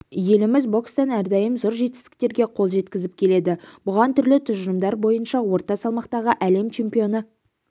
еліміз бокстан әрдайым зор жетістіктерге қол жеткізіп келеді бұған түрлі тұжырымдар бойынша орта салмақтағы әлем чемпионы